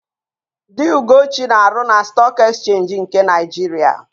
Di Ugochi na-arụ na Stọọk Ekchenji nke Naịjiria.